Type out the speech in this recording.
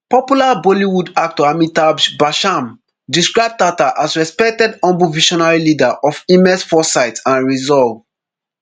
popular bollywood actor amitabh bachchan describe tata as respected humble visionary leader of immense foresight and resolve